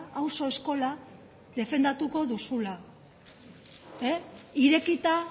auzo eskola defendatuko duzula irekita